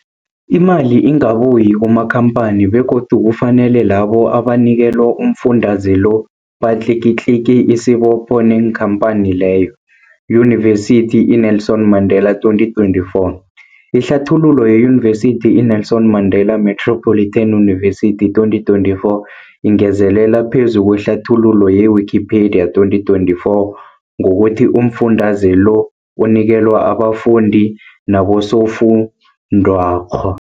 Imali ingabuyi kumakhamphani begodu kufanele labo abanikelwa umfundaze lo batlikitliki isibopho neenkhamphani leyo, Yunivesity i-Nelson Mandela 2024. Ihlathululo yeYunivesithi i-Nelson Mandela Metropolitan University, 2024, ingezelele phezu kwehlathululo ye-Wikipedia, 2024, ngokuthi umfundaze lo unikelwa abafundi nabosofundwakgho.